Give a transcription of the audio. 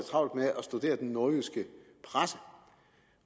travlt med at studere den nordjyske presse